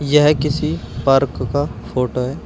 यह किसी पार्क का फोटो है।